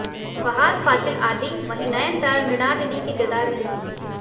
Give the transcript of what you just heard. फहाद फासिल आदि वहीं नयनतारा मृणालिनी के किरदार में दिखेंगी